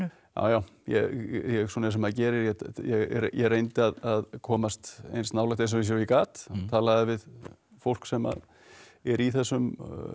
já já eins og maður gerir ég ég reyndi að komast eins nálægt þessu eins og ég gat talaði við fólk sem að er í þessum